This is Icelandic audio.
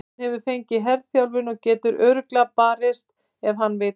Hann hefur fengið herþjálfun og getur örugglega barist ef hann vill.